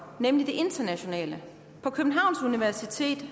nemlig det internationale på københavns universitet